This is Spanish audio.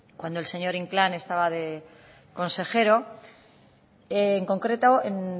cuando el señor inclán estaba de consejero en concreto el